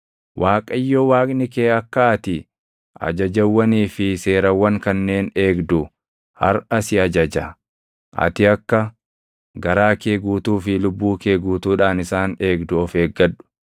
Waaqayyo Waaqni kee akka ati ajajawwanii fi seerawwan kanneen eegdu harʼa si ajaja; ati akka garaa kee guutuu fi lubbuu kee guutuudhaan isaan eegdu of eeggadhu.